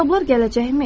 Hesablar gələcəkmi?